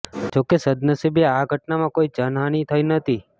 જો કે સદનસીબે આ ઘટનામાં કોઈ જનહાનિ થઈ નથી